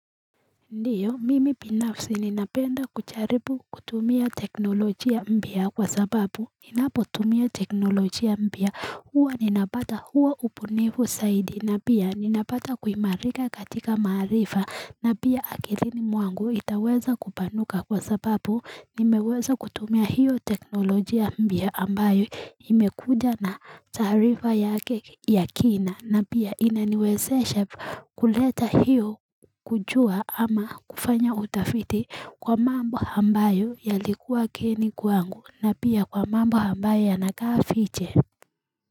Ndiyo, mimi binafsi ninapenda kujaribu kutumia teknolojia mpya kwa sababu ninapotumia teknolojia mpya, huwa ninapata huo ubunifu zaidi na pia ninapata kuimarika katika maarifa na pia akilini mwangu itaweza kupanuka kwa sababu nimeweza kutumia hiyo teknolojia mpya ambayo imekuja na taarifa yake ya kina na pia inaniwezesha kuleta hiyo kujua ama kufanya utafiti kwa mambo ambayo yalikuwa geni kwangu na pia kwa mambo ambayo yanakaa fiche.